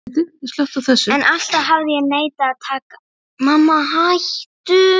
En alltaf hafði ég neitað að taka afstöðu.